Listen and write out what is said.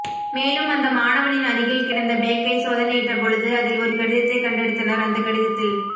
மேலும் அந்த மாணவனின் அருகில் கிடந்த பேக்கை சோதனையிட்ட பொழுது அதில் ஒரு கடித்தை கண்டெடுத்தனர் அந்த கடிதத்தில்